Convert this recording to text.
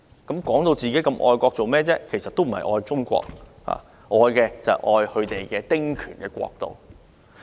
他們自稱很愛國，其實不是愛中國，愛的是他們的"丁權國度"。